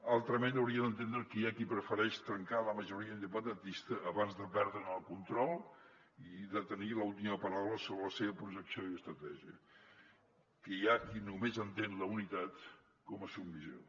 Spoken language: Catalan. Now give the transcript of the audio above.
altrament hauria d’entendre que hi ha qui prefereix trencar la majoria independentista abans de perdre’n el control i de tenir l’última paraula sobre la seva projecció i estratègia que hi ha qui només entén la unitat com a submissió